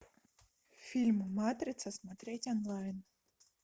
фильм матрица смотреть онлайн